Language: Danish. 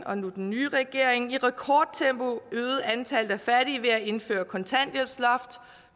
og nu den nye regering i rekordtempo øget antallet af fattige ved at indføre et kontanthjælpsloft